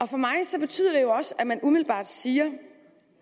for mig betyder det også at man umiddelbart siger